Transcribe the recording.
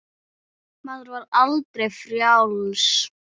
Maður var aldrei frjáls.